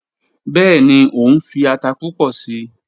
Bẹẹni, o nfi ata pupọ sii